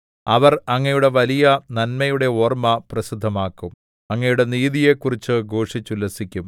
അവർ അങ്ങയുടെ വലിയ നന്മയുടെ ഓർമ്മ പ്രസിദ്ധമാക്കും അങ്ങയുടെ നീതിയെക്കുറിച്ച് ഘോഷിച്ചുല്ലസിക്കും